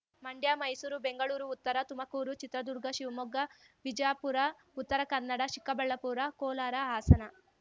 Mandya Mysuru Bengaluru Uttara Tumakuru Chitradurga Shivamogga Vijapura Uttara Kannada Chikkaballapura Kolar Hassan